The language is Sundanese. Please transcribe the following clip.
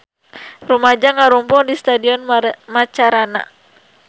Rumaja ngarumpul di Stadion Macarana